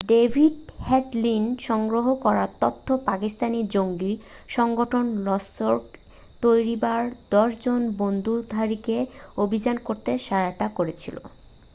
David হেডলির সংগ্রহ করা তথ্য পাকিস্তানি জঙ্গি সংগঠন লস্কর-ই-তৈয়বার 10 জন বন্দুকধারীকে অভিযান করতে সহায়তা করেছিল